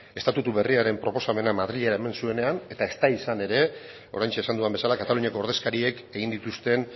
estatutu berriaren proposamena madrilera eraman zuenean eta ez da izan ere oraintxe esan dudan bezala kataluniako ordezkariek egin dituzten